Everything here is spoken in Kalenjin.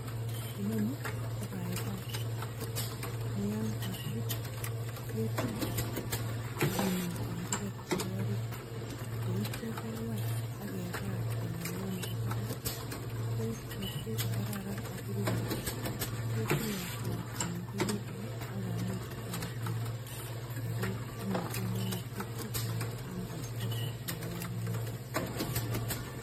Inoni ko baibai ne yon kogibut ketile ak kinem tenderek chebo orit, ye ityo kewai ak kebal bololiot nebo barak. Kokotko kakararan ago rurot ketilotili komengegitun ak komuch koam biik. Ago tinye komonutyeet che chang en borto logoyanito be baibai.